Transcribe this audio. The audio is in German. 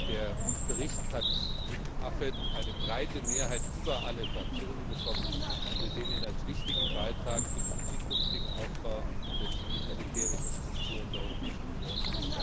Der Bericht hat im AFET eine breite Mehrheit über alle Fraktionen bekommen, und wir sehen ihn als wichtigen Beitrag für den zukünftigen Aufbau der zivil militärischen Strukturen der Europäischen Union